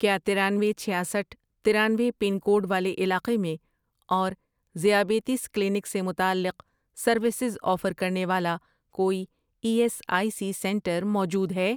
کیا ترانوے، چھیاسٹھ ،ترانوے پن کوڈ والے علاقے میں اور ذیابیطس کلینک سے متعلق سروسز آفر کرنے والا کوئی E S I C centre موجود ہے؟